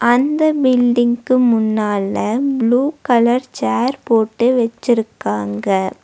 அந்த பில்டிங்க்கு முன்னால ப்ளூ கலர் சேர் போட்டு வெச்சுருக்காங்க.